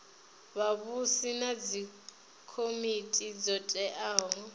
vhavhusi na dzikomiti dzo teaho